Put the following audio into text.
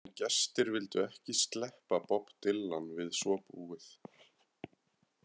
En gestir vildu ekki sleppa Bob Dylan við svo búið.